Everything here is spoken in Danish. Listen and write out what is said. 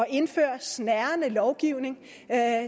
indføre snærende lovgivning